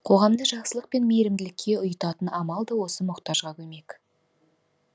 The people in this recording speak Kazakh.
қоғамды жақсылық пен мейірімділікке ұйытатын амал да осы мұқтажға көмек